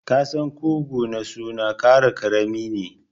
Ƙasan ƙugu na suna kara karami ne.